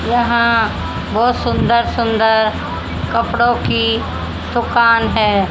यहां बहोत सुंदर सुंदर कपड़ों की दुकान है।